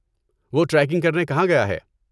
وہ ٹریکنگ کرنے کہاں گیا ہے؟